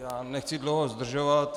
Já nechci dlouho zdržovat.